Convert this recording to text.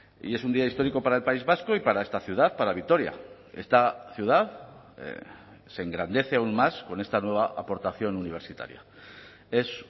y es un día histórico para el país vasco y para esta ciudad para vitoria esta ciudad se engrandece aún más con esta nueva aportación universitaria es